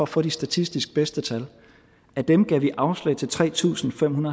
få de statistisk bedste til af dem gav vi afslag til tre tusind fem